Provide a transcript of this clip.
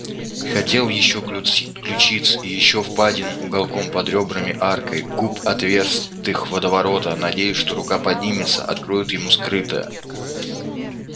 хотел ещё ключиц ещё впадину уголком под рёбрами аркой губ отверстых водоворота надеялся что рука поднимется откроет ему скрытое